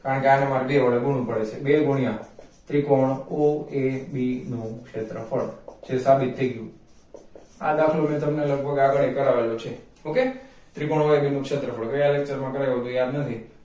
કારણકે આને મારે બે વડે ગુણવું પડે છે બે ગુણ્યાં ત્રિકોણ OAB નું ક્ષેત્રફળ જે સાબિત થઈ ગયું આ દાખલો મેં તમને લગભગ આગળ પણ કરાવેલો છે okay ત્રિકોણ aob નું ક્ષેત્રફળ કયા lecture માં કરાવ્યો એ યાદ નથી